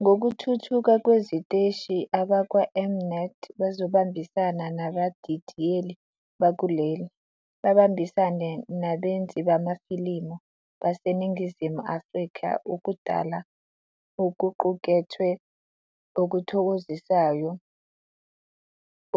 Ngokuthuthuka kweziteshi, abakwaM-Net bazobambisana nabadidiyeli bakuleli, babambisane nabenzi bamafilimu baseNingizimu Afrika ukudala okuqukethwe okuthokozisayo